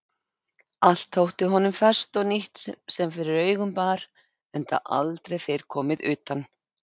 Allt þótti honum ferskt og nýtt sem fyrir augun bar enda aldrei fyrr komið utan.